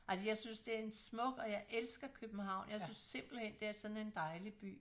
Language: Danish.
Altså jeg synes det en smuk og jeg elsker København jeg synes simpelthen det er sådan en dejlig by